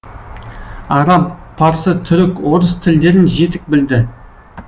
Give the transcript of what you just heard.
араб парсы түрік орыс тілдерін жетік білді